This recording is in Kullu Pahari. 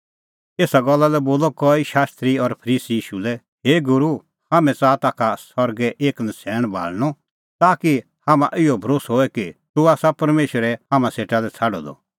एसा गल्ला लै बोलअ कई शास्त्री और फरीसी ईशू लै हे गूरू हाम्हैं च़ाहा ताखा सरगै एक नछ़ैण भाल़णअ ताकि हाम्हां इहअ भरोस्सअ होए कि तूह आसा परमेशरै हाम्हां सेटा लै छ़ाडअ द